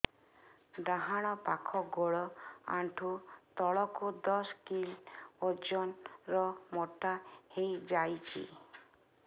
ଡାହାଣ ପାଖ ଗୋଡ଼ ଆଣ୍ଠୁ ତଳକୁ ଦଶ କିଲ ଓଜନ ର ମୋଟା ହେଇଯାଇଛି